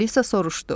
Alisa soruşdu: